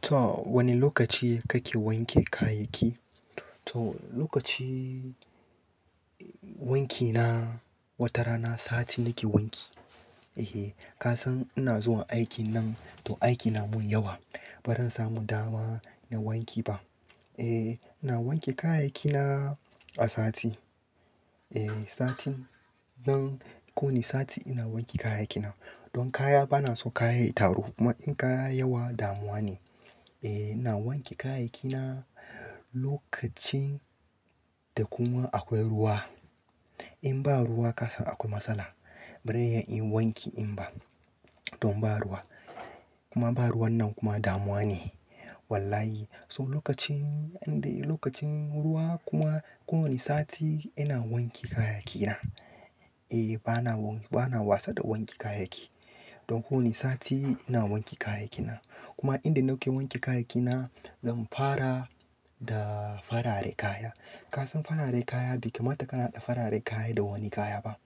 To wane lokaci kake wanke kayanki? To lokaci wankina, watarana sati nake wanki. Ehe, kasan ina zuwa aiki nan to aiki namun yawa. Bazan samu dama na wanki ba. Eh, na wanke kayayykina a sati. Eh, satin nan ko wani sati ina wanke kayayyaki na. Don kaya banaso kaya ya taru kuma in kaya yayi yawa damuwane. Eh, na wanke kayaki na lokacin da kuma akwai ruwa. Inba ruwa kasan akwai matsala. Bazan iya inyi wanki inba, donba ruwa. Kuma ba ruwannan kuma damuwa ne. Wallahi so lokacin, inde lokacin ruwa kuma ko wani sati ina wanke kayayyaki na. Eh bana bana wasa da wanke kayayyaki. Don kowani sati ina wanke kayayyaki na. Kuma inda nake wanke kayayyakina zan fara da farare kaya. Kasan farare kaya bai kamata kana haɗa fararen kaya da wani kayaba.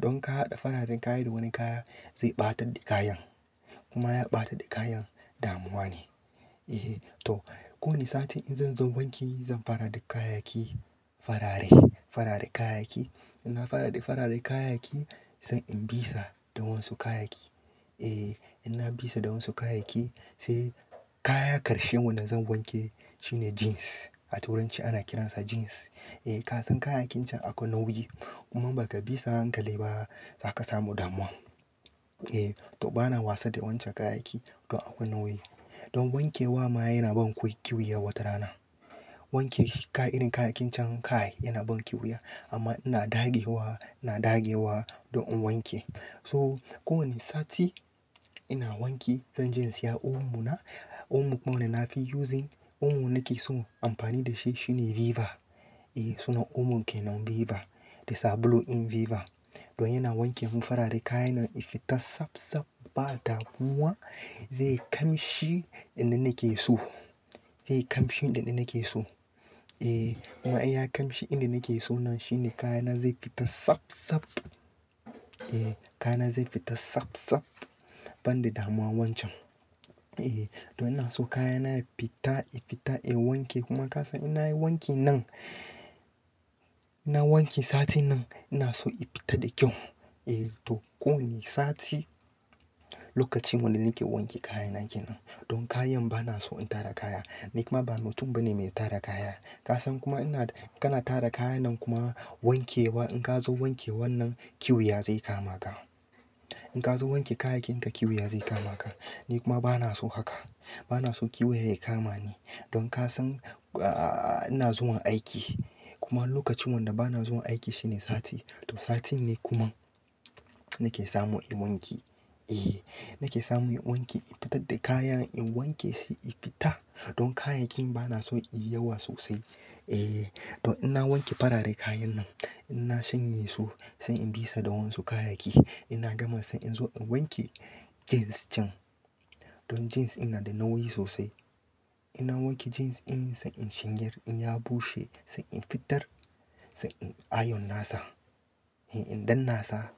Don kahaɗa fararen kaya da wani kaya zai ɓatadda kayan. Kuma ya ɓatadda kayan damuwane. Ehe to kowani sati in zanzo wanki zan fara da kayayyaki farare, farare kayayyaki. Inna fara da farare kayayyaki, sai in bisa da wasu kayayyaki. Eh, inna bisa da wasu kayayyaki sai kaya ƙarshen wanda zan wanke shine jeans. A turanci ana kiransa jeans. Eh kasan kayayyakin can akwai nauyi. Kuma baka bisa a hankali ba zaka samu damuwa. Eh to bana wasa da wancan kayayyaki, don akwai nauyi. Don wankewa ma yanaban kiwuya watarana. Wankinshi irin kayayyakin can kai yanaban kiwuya amma ina dagewa, ina dagewa don in wanke. So ko wani sati ina wanki zanje in siya omo na. Omo kuma wanda nafi using omo nakeso amfani dashi shine Viva. Eh sunan omon kenan Viva. Da sabulun din Viva. Don yana wanke mun farare kayan nan ya fita sab-sab ba damuwa zai kamshi inda nake so. Zai kamshi inda nake so. Eh kuma inya kamshi inda nake so nan shine kayana zai fita sab-sab. Eh kayana zai fita sab-sab, banda damuwa wancan. Eh don ina so kayana ya fita, ya fita in wanke kuma kasan innayi wanki nan, na wanke sati nan inaso ya fita da kyau. Eh to ko wani sati lokacin wanda nake wanke kayana kenan. Don kayan banaso in tara kaya. Ni kuma ba mutum bane mai tara kaya. Kasan kuma ina kana tara kayannan kuma wankewa in kazo wanke wannan kiwuya zai kama ka. In ka zo wanke kayakin ka kiyu ya zai kama ka. Ni kuma bana so haka. Bana so kiyu ya kama ni. Don kasan ahhh ina zuwan aiki. Kuma lokacin wanda bana zuwa aiki shine sati. To sati ne kuma nake samu in wanki. Eh nake samu in wanki in fitarda kayan in wankeshi ya fita. Don kayayyakin banaso inyi yawa sosai. Eh don inna wanke fararen kayan nan. Inna shanyesu sai in bisa da wasu kayayyaki. Ina gama sai in zo in wanke jeans can. Don jeans ina da nauyi sosai. Inna wanke jeans in sai in shanyar in ya bushe sai in fitar sai inyi ayon nasa. Eh in dannasa,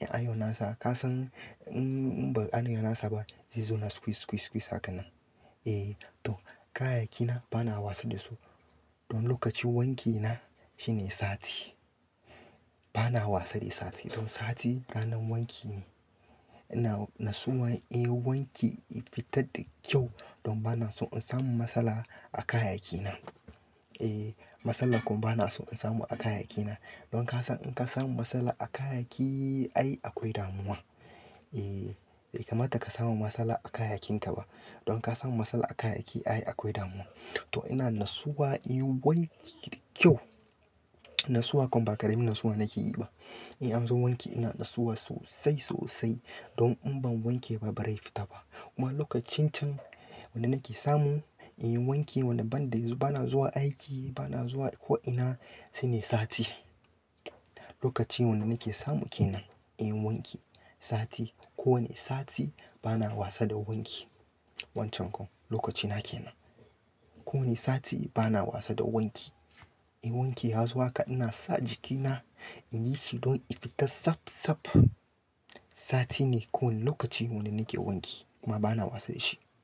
in ayon nasa kasan in ba anayi nasa ba zai zona squeeze, squeeze, squeeze hakanan. Eh to kayaki na bana wasa da su. Don lokacin wankina shine sati. Bana wasa da sati. Don sati ranar wanki ne. Ina nasuwa in wanki ya fita da kyau, don banason in samu matsala a kayayyakina. Eh matsala kuma bana so in samu a kayaki na. Don kasan inka samu matsala a kayayyaki ai akwai damuwa. Eh bai kamata ka samu matsala a kayakin ka ba. Don ka samu matsala a kayaki ai akwai damuwa. To ina nasuwa in wanki da kyau. Nasuwa kuma ba ƙaramin nasuwa nakeyiba. In anzo wanki ina nasuwa sosai, sosai. Don in ban wankeba ba rai fitaba. Kuma lokacin can da nake samu inyi wanki wanda banda, bana zuwa aiki bana zuwa ko'ina sainai sati. Lokaci wanda nake samu kenan. Eh wanki sati. Ko wane sati bana wasa da wanki. Wancan kuma lokacina kenan. Ko wane sati bana wasa da wanki. Eh wanki ya zuwa ka ina sa jikina in yi shi don ya fita sab-sab. Satine ko wani lokaci wanda nake wanki kuma bana wasa dashi.